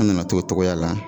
An nana to o cogoya la